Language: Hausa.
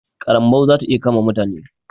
ƙarambau zai iya kama mutane.